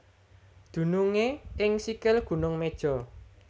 Dunungé ing sikil Gunung Meja